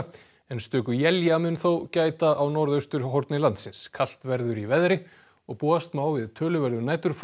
en stöku mun þó gæta á norðausturhorni landsins kalt verður í veðri og búast má við töluverðu